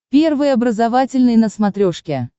первый образовательный на смотрешке